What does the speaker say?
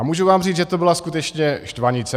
A můžu vám říct, že to byla skutečně štvanice.